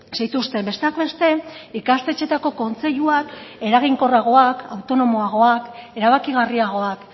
zituzten besteak beste ikastetxeetako kontseiluak eraginkorragoak autonomoagoak erabakigarriagoak